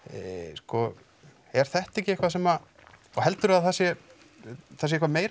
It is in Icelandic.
sko er þetta ekki eitthvað sem og heldurðu að það sé það sé eitthvað meira